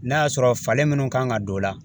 N'a y'a sɔrɔ falen minnu kan ka don o la